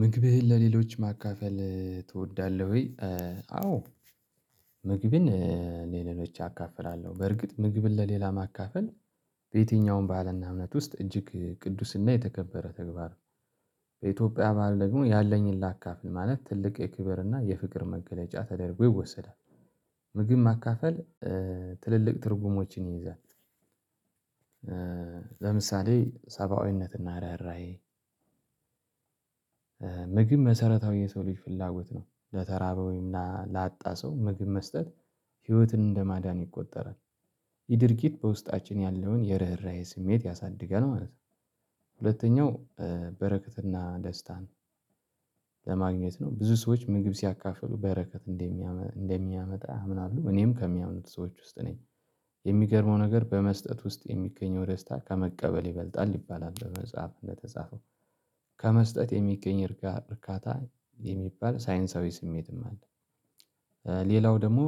ምግብህን ለሌሎች ማካፈል ትወዳለህ ወይ? አዎ። ምግብን እ ለሌሎች አካፍላለሁ በእርግጥ ምግብን ለሌላ ማካፈል። በየትኛውም ባህልና እምነት ውስጥ እጅግ ቅዱስና የተከበረ ተግባር። በኢትዮጵያ ባህል ደግሞ ያለኝን ላካፍን ማለት ትልቅ የክብርና የፍቅር መገለጫ ተደርጎ ይወሰዳል። ምግብ ማካፈል ትልልቅ ትርጉሞችን ይይዛል። ለምሳሌ ሰብአዊነትና ርህራሄ። ምግብ መሰረታዊ የሰው ልጅ ፍላጎት ነው ለተራበ ወይም ላጣ ሰው ምግብ መስጠት ህይወትን እንደማዳን ይቆጠራል። ይህ ድርጊት በውስጣችን ያለውን የርህራሄ ስሜት ያሳድጋል ማለት ነው። ሁለተኛው በረከትና ደስታን። ለማግኘት ነው ብዙ ሰዎች ምግብ ሲያካፍሉ በረከት እንደሚያመጣ ያምናሉ እኔም ከሚያምኑት ሰዎች ውስጥ ነኝ። የሚገርመው ነገር በመስጠት ውስጥ የሚገኘው ደስታ ከመቀበል ይበልጣል ይባላል። በመጽሐፍ እንደተጻፈው። ከመስጠት የሚገኝ እርካታ የሚባል ሳይንሳዊ ስሜትም አለ። ሌላው ደግሞ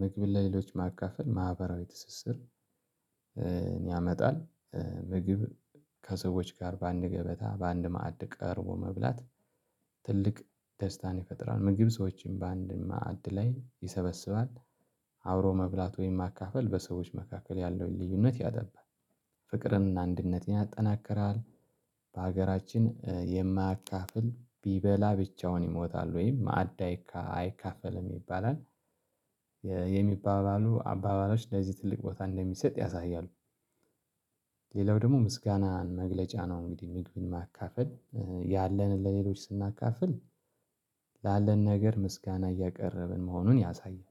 ምግብ ለሌሎች ማካፈል ማህበራዊ ትስስር ያመጣል። ምግብ ከሰዎች ጋር በአንድ ገበታ በአንድ ማዕድ ቀርቦ መብላት። ትልቅ ደስታን ይፈጥራል ምግብ ሰዎችን በአንድ ማዕድ ላይ ይሰበስባል። አብሮ መብላት ወይም ማካፈል በሰዎች መካከል ያለውን ልዩነት ያጠባል። ፍቅርና አንድነትን ያጠናክራል። በሀገራችን የማያካፍል ቢበላ ብቻውን ይሞታል ወይም ማዕድ አይካ አይካፈልም ይባላል። የሚባሉ አባባሎች ለዚህ ትልቅ ቦታ እንደሚሰጥ ያሳያሉ። ሌላው ደግሞ ምስጋናን መግለጫ ነው። እንግዲህ ምግብን ማካፈል ያለንን ለሌሎች ስናካፍል ላለን ነገር ምስጋና እያቀረብን መሆኑን ያሳያል።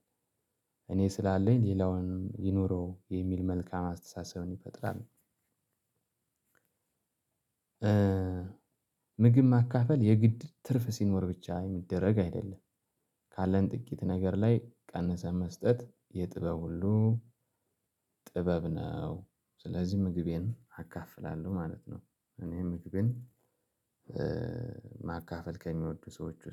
እኔ ስላለኝ ሌላውንም ይኑረው የሚል መልካም አስተሳሰብን ይፈጥራል። ምግብ ማካፈል የግድ ትርፍ ሲኖር ብቻ የሚደረግ አይደለም። ካለን ጥቂት ነገር ላይ ቀንሰን መስጠት የጥበብ ሁሉ ጥበብ ነው። ስለዚህ ምግቤን አካፍላለሁ ማለት ነው። እኔም ምግብን ማካፈል ከሚወዱ ሰዎች